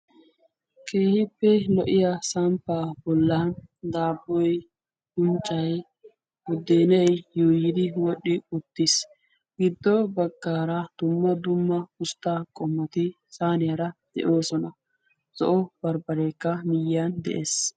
keehippe lo'iya samppaa bollan daabboy gunccay guddeenai yuuyiidi wodhdhi uttiis giddo baggaara dumma dumma usttaa qommati saaniyaara de'oosona zo'o barbbareekka miyyan de'ees